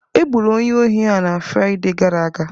Egburu onye ohi a na Fraịde gara aga.